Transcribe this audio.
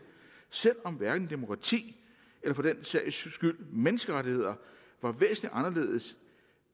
selv om hverken demokrati eller for den sags skyld menneskerettigheder var væsentlig anderledes